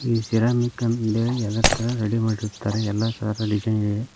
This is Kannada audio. ಈ ಸಿರಾಮಿಕ್ ಎಂದು ಹೇಳಿ ಎಲ್ಲ ತರ ರೆಡಿ ಮಾಡಿರುತ್ತಾರೆ ಎಲ್ಲ ತರ ಡಿಸೈನ್ ಇದೆ.